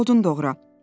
Dur odun doğra.